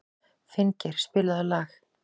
Finngeir, spilaðu lag.